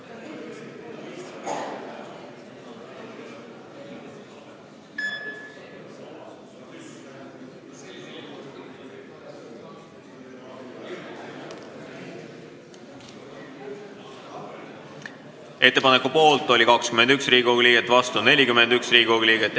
Hääletustulemused Ettepaneku poolt oli 21 ja vastu 41 Riigikogu liiget.